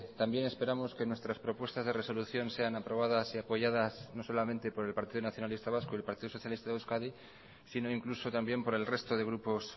también esperamos que nuestras propuestas de resolución sean aprobadas y apoyadas no solamente por el partido nacionalista vasco y el partido socialista de euskadi sino incluso también por el resto de grupos